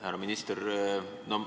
Härra minister!